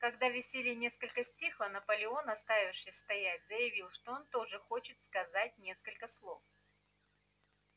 когда веселье несколько стихло наполеон оставивший стоять заявил что он тоже хочет сказать несколько слов